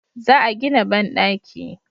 Za a gina banɗaki